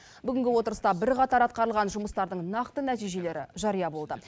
бүгінгі отырыста бірқатар атқарылған жұмыстардың нақты нәтижелері жария болды